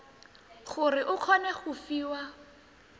gore o kgone go fiwa